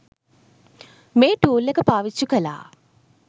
මේ ටූල් එක පාවිච්චි කළා